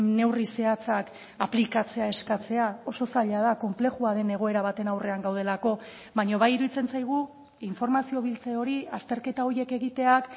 neurri zehatzak aplikatzea eskatzea oso zaila da konplexua den egoera baten aurrean gaudelako baina bai iruditzen zaigu informazio biltze hori azterketa horiek egiteak